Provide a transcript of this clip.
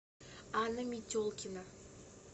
анна метелкина